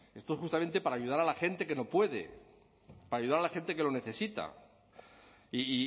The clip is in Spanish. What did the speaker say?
esto es justamente para ayudar a la gente que no puede para ayudar a la gente que lo necesita y